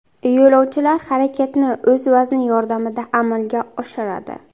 Yo‘lovchilar harakatni o‘z vazni yordamida amalga oshiradi.